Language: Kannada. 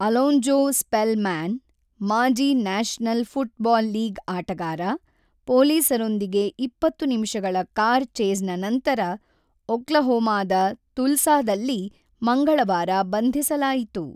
ಅಲೊಂಜೊ ಸ್ಪೆಲ್‌ಮ್ಯಾನ್, ಮಾಜಿ ನ್ಯಾಷನಲ್ ಫುಟ್‌ಬಾಲ್ ಲೀಗ್ ಆಟಗಾರ, ಪೊಲೀಸರೊಂದಿಗೆ ಇಪ್ಪತ್ತು ನಿಮಿಷಗಳ ಕಾರ್ ಚೇಸ್‌ನ ನಂತರ ಒಕ್ಲಹೋಮಾದ ತುಲ್ಸಾದಲ್ಲಿ ಮಂಗಳವಾರ ಬಂಧಿಸಲಾಯಿತು.